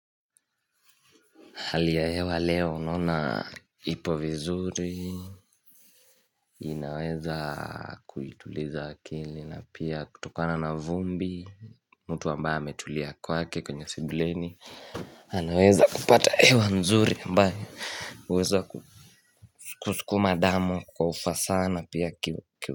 Hali ya hewa leo naona ipo vizuri, inaweza kuituliza akili, na pia kutokana na vumbi, mtu ambaye ametulia kwake kwenye sibileni, anaweza kupata hewa nzuri ambayo uweza ku kusukuma ndamu kwa ufasah na pia kiu.